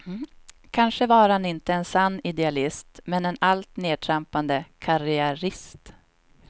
Kanske var han inte en sann idealist, men en allt nedtrampande karriärist.